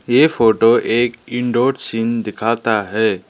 ये फोटो एक indoor scene दिखाता है।